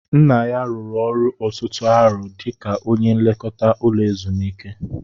Nna ya rụrụ ọrụ ọtụtụ arọ dika ónyé nlekọta ụlọ ezumiike